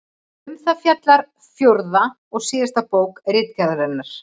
Um það fjallar fjórða og síðasta bók Ritgerðarinnar.